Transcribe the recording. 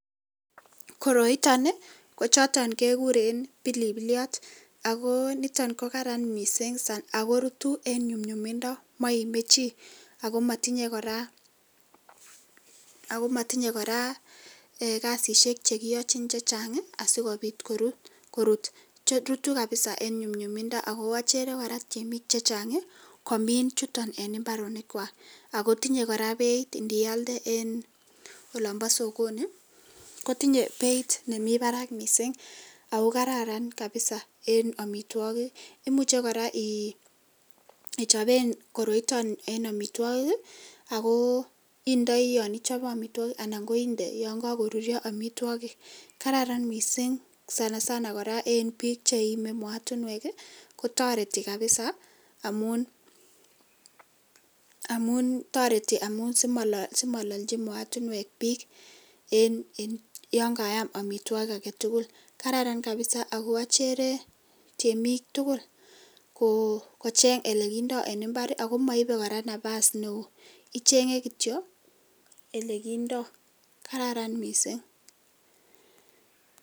koroiton ni kochoto gegurek pilipiliat ago niton gogaran missing ago rutun en nyumnyumindo maime chi ago matinye goragasisyek chechang asi kopit korut. rutun eng nyumnyumindo. tinye beit ne kararan nialnden en sokoni kotinye beit ne kararan missing, kararan missing ngichobee amitwokik ako kararan eng bik che lalnjin mootinwek. achere tiemik tugul komin koroi amun maame nafasi neoo ichengei kityo ole gindoi, kararan missing